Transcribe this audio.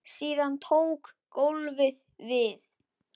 Síðan tók golfið við.